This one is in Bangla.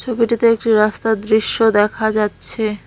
ছবিটিতে একটি রাস্তার দৃশ্য দেখা যাচ্ছে।